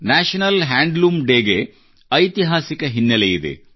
national handloom day ಗೆ ಐತಿಹಾಸಿಕ ಹಿನ್ನೆಲೆಯಿದೆ